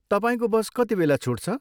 तपाईँको बस कतिबेला छुट्छ?